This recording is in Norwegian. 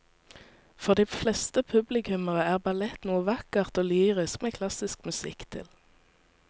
For de fleste publikummere er ballett noe vakkert og lyrisk med klassisk musikk til.